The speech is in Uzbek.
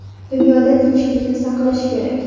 Dunyoda tinchlikni saqlash kerak.